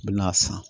N bɛ n'a san